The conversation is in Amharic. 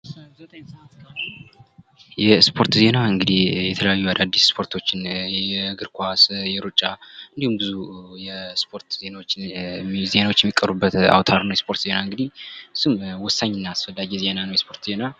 የእስፖርት ዜና እንግዲህ የተለያዩ አዳዲስ እስፖርቶችን የእግር ኳስ የእሩጫ እንዲሁም ብዙ የእስፖርት ዜናዎች የሚቀርቡበት አውታር ነው የእስፖርት ዜና እንግዲህ ወሳኝና አስፈላጊ ዜና ነው ነው የስፖርት ዜና።